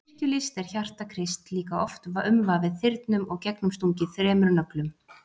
Í kirkjulist er hjarta Krists líka oft umvafið þyrnum og gegnumstungið þremur nöglum.